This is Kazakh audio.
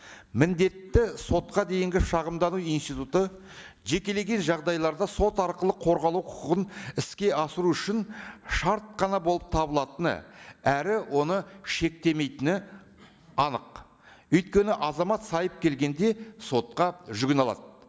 міндетті сотқа дейінгі шағымдағы институты жекелеген жағдайларда сот арқылы қорғалу құқығын іске асыру үшін шарт қана болып табылатыны әрі оны шектемейтіні анық өйткені азамат келгенде сотқа жүгіне алады